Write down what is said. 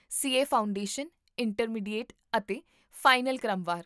C A foundation, intermediate ਅਤੇ final ਕ੍ਰਮਵਾਰ